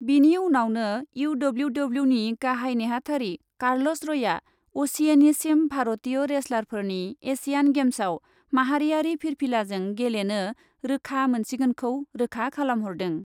बेनि उनावनो इउडब्लिउडब्लिउनि गाहाइ नेहाथारि कार्लस रयआ असिएनिसिम भारतीय रेसलारफोरनि एसियान गेम्सआव माहारियारि फिरफिलाजों गेलेनो रोखा मोनसिगोनखौ रोखा खालामहरदों।